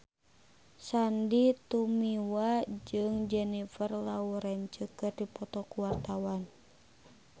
Sandy Tumiwa jeung Jennifer Lawrence keur dipoto ku wartawan